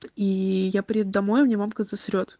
и я приду домой у меня мамка засрет